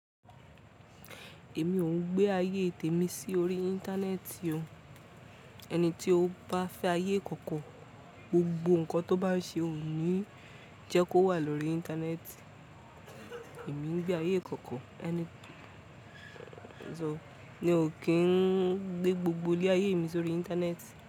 Èmi ò ń gbé ayé tèmi sí orí Íńtánẹ́ẹ̀tì o. Ẹni tí ó bá fẹ́ ayé ìkọ̀kọ̀, gbogbo nǹkan tó bá ṣe ò ni, jẹ́ kó wà lórí Íńtánẹ́ẹ̀tì. Èmi ń gbé ayé ìkọ̀kọ̀, ẹni tí sọ mí ò kí ń gbé gbogbo lé ayé mi sórí Íńtánẹ́ẹ̀tì.